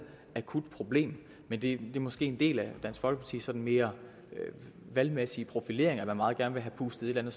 akut problem men det er måske en del af dansk folkepartis sådan mere valgmæssige profilering at man meget gerne vil have pustet et eller